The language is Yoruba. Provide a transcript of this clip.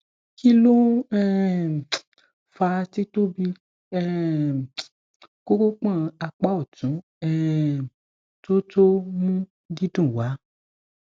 kilo n um faa ti tobi um koropon apa otun um to to mu didun wa